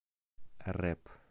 рэп